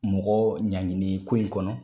Mɔgɔ ɲangini ko in kɔnɔ.